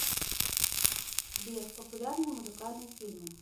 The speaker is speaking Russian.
сбер популярные музыкальные фильмы